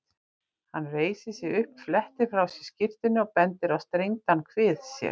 Hann reisir sig upp, flettir frá sér skyrtunni og bendir á strengdan kvið sér.